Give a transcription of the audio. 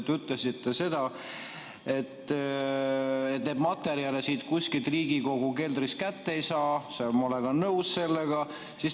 Te ütlesite, et neid materjale kuskilt Riigikogu keldrist kätte ei saa, ja ma olen nõus sellega.